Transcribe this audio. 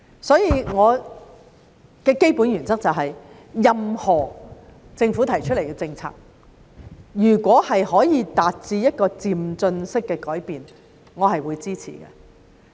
所以，我的基本原則是任何政府提出的政策如果可以達致漸進式的改變，我是會支持的。